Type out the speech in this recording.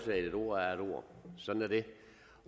et ord er et ord